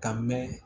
Ka mɛn